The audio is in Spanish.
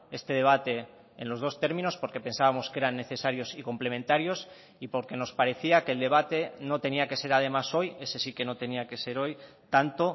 este debate en los dos términos porque pensábamos que eran necesarios y complementarios y porque nos parecía que el debate no tenía que ser además hoy ese sí que no tenía que ser hoy tanto